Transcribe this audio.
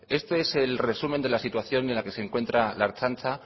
este es el resumen de la situación en la que se encuentra la ertzaintza